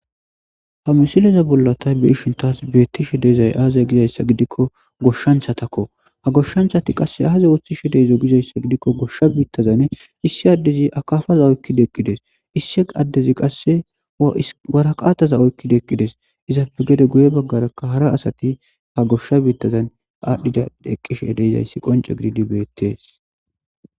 Ha missileza bolla tayi beishin tas betishe dizzay agizayssa giidikko goshshanchatakko ha goshshanchati qasse aaza oththishe dizzo gizayssa gidikko goshsha bittazan issi adezi akkapaza oykkidi eqqides issi addezi qasse waraqatta oykkidi eqqides izappe gede baggera hara asati ha goshsha bittazan adhdhidi eqqidayssi qoncce giddidi bettes.